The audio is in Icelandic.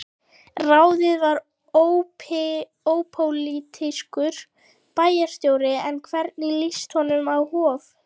Ráðinn var ópólitískur bæjarstjóri, en hvernig líst honum á Hof?